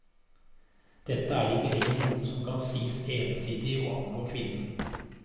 Dette er ikke lenger noe som kan sies ensidig å angå kvinnen.